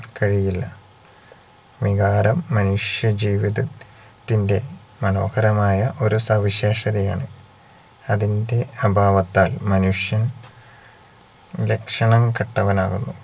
കഴിയില്ല വികാരം മനുഷ്യജീവിത ത്തിന്റെ മനോഹരമായ ഒരുസവിശേഷതയാണ് അതിന്റെ അഭാവത്താൽ മനുഷ്യൻ ലക്ഷണം കെട്ടവനാകുന്നു